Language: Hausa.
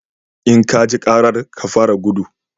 In ka ji karar, ka fara gudu!